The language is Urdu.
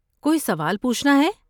کوئی سوال پوچھنا ہے؟